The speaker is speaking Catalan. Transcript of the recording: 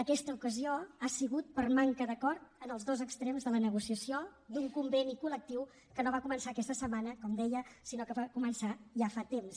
aquesta ocasió ha sigut per manca d’acord en els dos extrems de la negociació d’un conveni col·lectiu que no va començar aquesta setmana com deia sinó que va començar ja fa temps